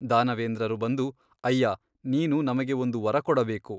ದಾನವೇಂದ್ರರು ಬಂದು ಅಯ್ಯಾ ನೀನು ನಮಗೆ ಒಂದು ವರ ಕೊಡಬೇಕು.